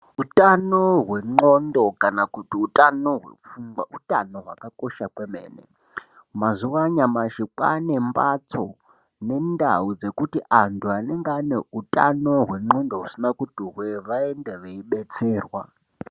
Utano hwendxondo kana kuti utano hwepfungwa utano hwakakosha kwemene mazuwa anyamashi kwaane mbatso nendau dzekuti antu anenge ane utano hwendxondo vasina kuti hwee vaende veidetserwa.